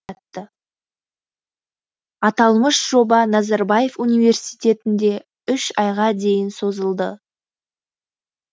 аталмыш жоба назарбаев университетінде үш айға дейін созылды